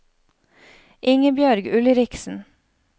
Ingebjørg Ulriksen